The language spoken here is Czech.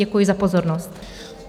Děkuji za pozornost.